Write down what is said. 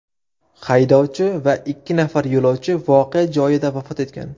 Haydovchi va ikki nafar yo‘lovchi voqea joyida vafot etgan.